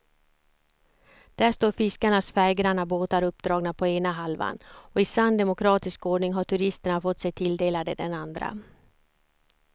Där står fiskarnas färggranna båtar uppdragna på ena halvan och i sann demokratisk ordning har turisterna fått sig tilldelade den andra.